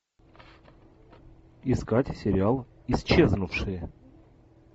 искать сериал исчезнувшие